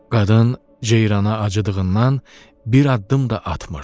Qadın ceyrana acıdığından bir addım da atmırdı.